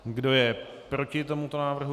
Kdo je proti tomuto návrhu?